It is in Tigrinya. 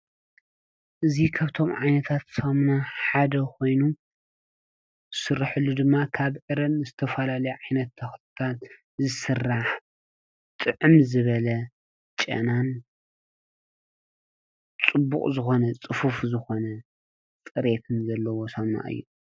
እዚ ካብቶም ዓይነታት ሳሚና ሓደ ኮይኑ ዝስረሐሉ ድማ ካብ ዕረን ዝተፈላለዩ ዓይነታት ተክሊ ዝስራሕ ጥዕም ዝበለ ጨናን ፅቡቕ ዝኮነ፣ ፅፉፍ ዝኮነ ፅሬትን ዘለዎ ሳሙና እዩ፡፡